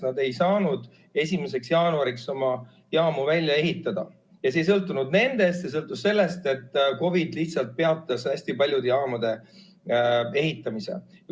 Nad ei saanud 1. jaanuariks oma jaamu välja ehitada ja see ei sõltunud nendest, see sõltus sellest, et COVID lihtsalt peatas hästi paljude jaamade ehitamise.